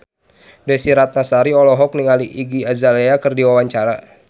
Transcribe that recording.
Desy Ratnasari olohok ningali Iggy Azalea keur diwawancara